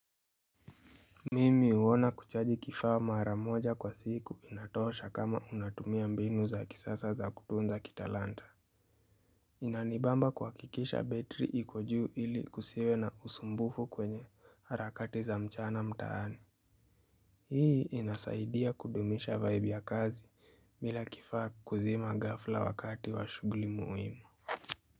Mimi uona kuchaji kifaa maramoja kwa siku inatosha kama unatumia mbinu za kisasa za kutunza kitalanta. Inanibamba kwa kikisha betri iko juu ili kusiwe na usumbufu kwenye harakati za mchana mtaani. Hii inasaidia kudumisha vibe ya kazi. Bila kifaa kuzima gafla wakati wa shugli muhimu.